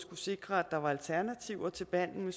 sikre at der var alternativer til behandlingen